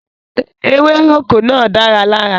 Ewéròkó náà dára lára.